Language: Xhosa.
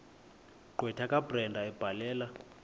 gqwetha kabrenda ebhalela